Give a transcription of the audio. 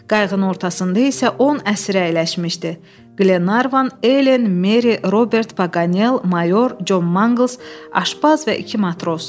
Qayığın ortasında isə 10 əsir əyləşmişdi: Qlenarvan, Elen, Meri, Robert Paqanel, Mayor Con Manqıls, aşbaz və iki matros.